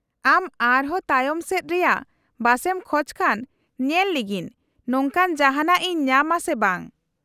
-ᱟᱢ ᱟᱨᱦᱚᱸ ᱛᱟᱭᱚᱢ ᱥᱮᱫ ᱨᱮᱭᱟᱜ ᱵᱟᱥ ᱮᱢ ᱠᱷᱚᱪ ᱠᱷᱟᱱ, ᱧᱮᱞ ᱞᱮᱜᱤᱧ ᱱᱚᱝᱠᱟᱱ ᱡᱟᱦᱟᱸᱱᱟᱜ ᱤᱧ ᱧᱟᱢᱟ ᱥᱮ ᱵᱟᱝ ᱾